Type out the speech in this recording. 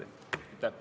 Aitäh!